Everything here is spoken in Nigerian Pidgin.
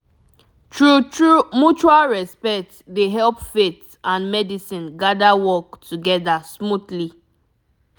true true mutual respect dey help faith and medicine gather work together smoothly